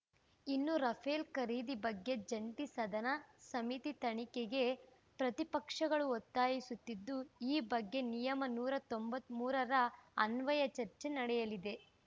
ಇನ್ನು ರಫೇಲ್‌ ಖರೀದಿ ಬಗ್ಗೆ ಜಂಟಿ ಸದನ ಸಮಿತಿ ತನಿಖೆಗೆ ಪ್ರತಿಪಕ್ಷಗಳು ಒತ್ತಾಯಿಸುತ್ತಿದ್ದು ಈ ಬಗ್ಗೆ ನಿಯಮ ನೂರ ತೊಂಬತ್ತ್ ಮೂರರ ಅನ್ವಯ ಚರ್ಚೆ ನಡೆಯಲಿದೆ